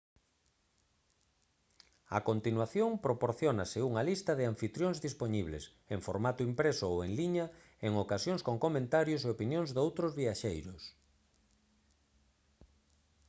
a continuación proporciónase unha lista de anfitrións dispoñibles en formato impreso ou en liña en ocasións con comentarios e opinións doutros viaxeiros